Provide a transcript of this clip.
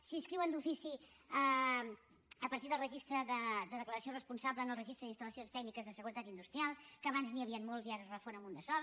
s’inscriuen d’ofici a partir del registre de declaració responsable en el registre d’instal·lacions tècniques de seguretat industrial que abans n’hi havien molts i ara es refon en un de sol